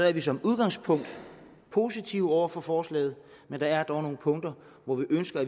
er vi som udgangspunkt positive over for forslaget men der er dog nogle punkter hvor vi ønsker